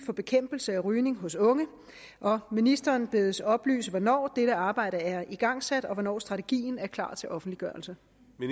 for bekæmpelse af rygning hos unge og ministeren bedes oplyse hvornår dette arbejde er igangsat og hvornår strategien er klar til offentliggørelse